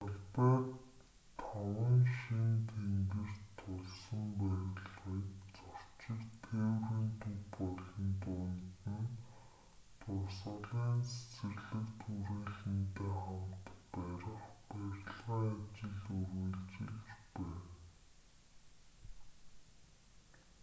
талбайд таван шинэ тэнгэрт тулсан барилгыг зорчигч тээврийн төв болон дунд нь дурсгалын цэцэрлэгт хүрээлэнтэй хамт барих барилгын ажил үргэлжилж байна